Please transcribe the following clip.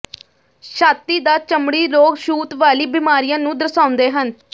ਛਾਤੀ ਦਾ ਚਮੜੀ ਰੋਗ ਛੂਤ ਵਾਲੀ ਬੀਮਾਰੀਆਂ ਨੂੰ ਦਰਸਾਉਂਦੇ ਹਨ